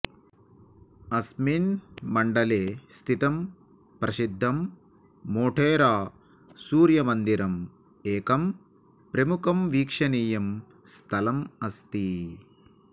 अस्मिन् मण्डले स्थितं प्रसिद्धं मोढेरा सूर्यमन्दिरम् एकं प्रमुखं वीक्षणीयं स्थलम् अस्ति